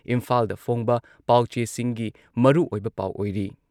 ꯏꯝꯐꯥꯜꯗ ꯐꯣꯡꯕ ꯄꯥꯎꯆꯦꯁꯤꯡꯒꯤ ꯃꯔꯨꯑꯣꯏꯕ ꯄꯥꯎ ꯑꯣꯏꯔꯤ꯫